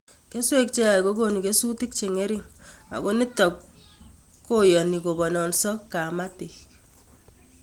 Keswek che yaach ko konu kesutik che ng'ering' ako nitok koyoni kopononso kapatik